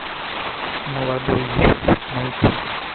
молодой еще найти